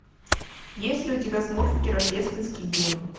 есть ли у тебя смурфики рождественский гимн